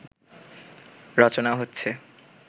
রচনা হচ্ছে